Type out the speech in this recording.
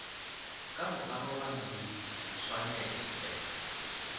ka go arogana di swanetpe